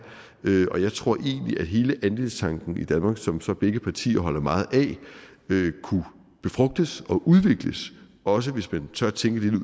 og jeg tror egentlig at hele andelstanken i danmark som som begge partier holder meget af kunne befrugtes og udvikles også hvis man tør tænke